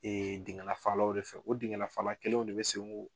Ee dingɛ lafalaw de fɛ, o dingɛ lafalw kelenw de be